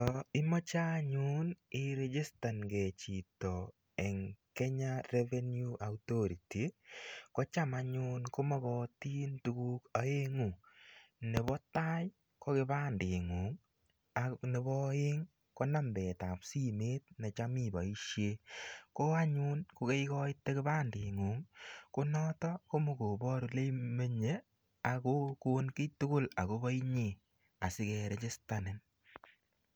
Yo imoche anyun irijistankei chito eng Kenya Revenue Authoruty, kocham anyun komokotin tukuk aengu, nebo tai ko kipandengung ak nebo aeng ko nambetab simet ne cham iboisie, ko anyun ko kaikoite kipandengung konoto ko mokobor ole imenye ak kokon kiy tugul akobo inye asi kerijistanin.